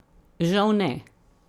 Žal ne.